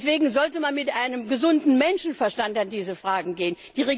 Deswegen sollte man mit einem gesunden Menschenverstand an diese Fragen herangehen.